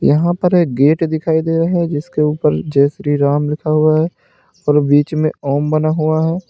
यहां पर एक गेट दिखाई दे रहा है जिसके ऊपर जय श्री राम लिखा हुआ है और बीच में ओम बना हुआ है।